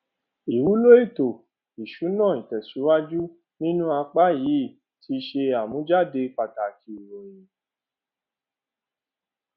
ìwúlò ètò ìsúná ìtẹsíwájù nínú apá yìí tí ṣe àmújáde pàtàkì ìròyìn